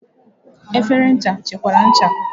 Efere ncha chekwara ncha.